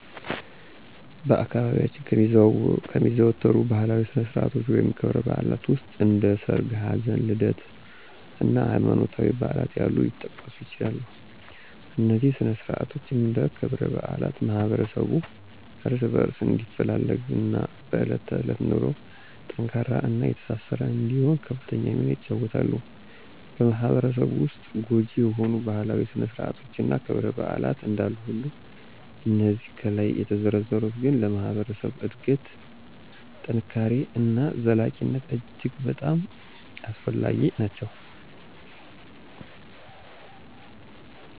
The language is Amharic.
በአካባቢያችን ከሚዘወተሩ ባህላዊ ስነ-ስርዓቶች ወይም ክብረ-በዓላት ዉስጥ እንደ ሠርግ፣ ሀዘን፣ ልደት እና ሀይማኖታዊ በዓላት ያሉት ሊጠቀሱ ይችላሉ፤ እነዚህ ስነ-ስርዓቶች እና ክብረ-በዓላት ማህበረሠቡ እርስ በእርስ እንዲፈላለግ እና በእለት ተዕለት ኑሮው ጠንካራ እና የተሳሰረ እንዲሆን ከፍተኛ ሚና ይጫወተሉ። በማህበረሰቡ ዉስጥ ጐጂ የሆኑ ባህላዊ ስነ- ስርአቶች እና ክብረ -በዓላት እንዳሉ ሁሉ እነዚህ ከላይ የተዘረዘሩት ግን ለማህበረሰብ እድገት፣ ጥንካሬ እና ዘላቂነት እጅግ በጣም አስፈላጊ ናቸው።